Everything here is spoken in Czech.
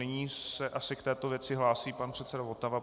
Nyní se asi k této věci hlásí pan předseda Votava.